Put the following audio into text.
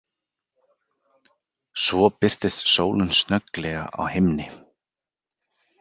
Svo birtist sólin snögglega á himni.